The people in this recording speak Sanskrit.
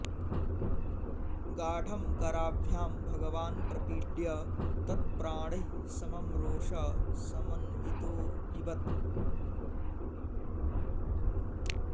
गाढं कराभ्यां भगवान् प्रपीड्य तत् प्राणैः समं रोषसमन्वितोऽपिबत्